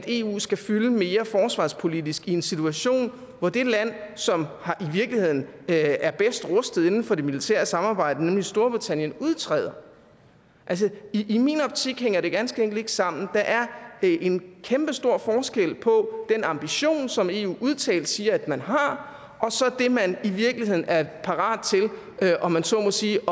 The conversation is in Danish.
eu skal fylde mere forsvarspolitisk i en situation hvor det land som i virkeligheden er bedst rustet inden for det militære samarbejde nemlig storbritannien udtræder altså i min optik hænger det ganske enkelt ikke sammen der er en kæmpestor forskel på den ambition som eu udtalt siger at man har og så det man i virkeligheden er parat til om man så må sige